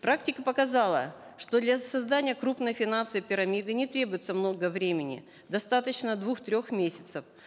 практика показала что для создания крупной финансовой пирамиды не требуется много времени достаточно двух трех месяцев